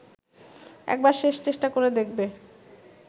একবার শেষ চেষ্টা করে দেখবে